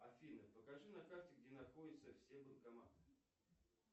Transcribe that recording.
афина покажи на карте где находятся все банкоматы